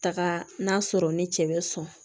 Taga n'a sɔrɔ ni cɛ bɛ sɔn